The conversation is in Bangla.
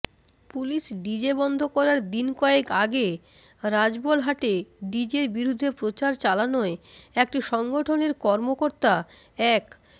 পুলিশ ডিজে বন্ধ করায় দিনকয়েক আগে রাজবলহাটে ডিজের বিরুদ্ধে প্রচার চালানোয় একটি সংগঠনের কর্মকর্তা এক